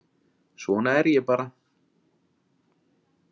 Svona er ég bara